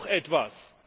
Das wäre doch etwas.